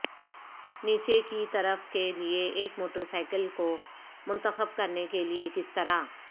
نیچے کی طرف کے لئے ایک موٹر سائیکل کو منتخب کرنے کے لئے کس طرح